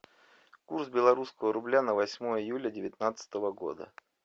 курс белорусского рубля на восьмое июля девятнадцатого года